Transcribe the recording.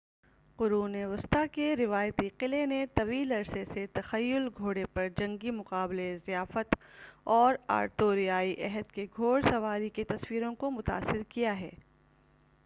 قرون وسطی کے روایتی قلعے نے طویل عرصے سے تخیل گھوڑے پر جنگی مقابلے ضیافت اور آرتوریائی عہد کے گھوڑسواری کی تصویروں کو متاثر کیا ہے